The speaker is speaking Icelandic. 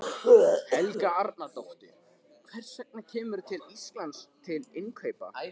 Helga Arnardóttir: Hvers vegna kemurðu til Íslands til innkaupa?